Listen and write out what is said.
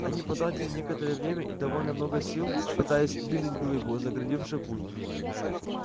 они потратили некоторое время и довольно много сил пытаясь сдвинуть глыбу загородившую путь